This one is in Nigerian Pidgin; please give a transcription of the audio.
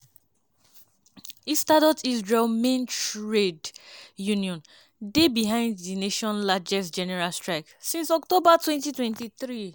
histadrut israel main trade union dey behind di nation largest general strike since october 2023.